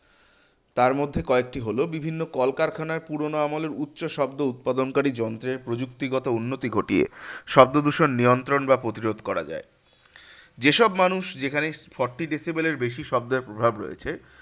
তারমধ্যে কয়েকটি হলো বিভিন্ন কলকারখানায় পুরোনো আমলের উচ্চ শব্দ উৎপাদনকারী যন্ত্রের প্রযুক্তিগত উন্নতি ঘটিয়ে শব্দদূষণ নিয়ন্ত্রণ বা প্রতিরোধ করা যায়। যেসব মানুষ যেখানেই forty decibel এর বেশি শব্দের প্রভাব রয়েছে